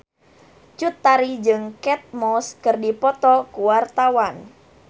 Cut Tari jeung Kate Moss keur dipoto ku wartawan